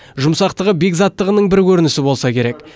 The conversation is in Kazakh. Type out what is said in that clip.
жұмсақтығы бекзаттығының бір көрінісі болса керек